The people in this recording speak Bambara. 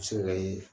Muso yɛrɛ ye